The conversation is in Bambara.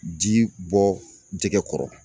Ji bɔ jɛgɛ kɔrɔ.